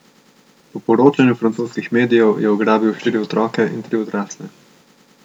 Po poročanju francoskih medijev je ugrabil štiri otroke in tri odrasle.